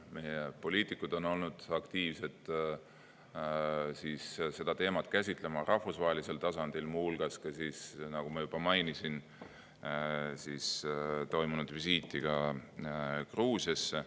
Meie poliitikud on aktiivselt seda teemat käsitlenud rahvusvahelisel tasandil, muu hulgas nagu ma juba mainisin, visiidi Gruusiasse.